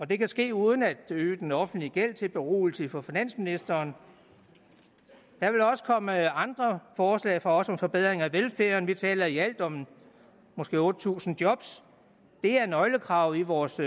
det kan ske uden at øge den offentlige gæld sagt til beroligelse for finansministeren der vil også komme andre forslag fra os om forbedring af velfærden vi taler i alt om måske otte tusind jobs det er nøglekravet i vores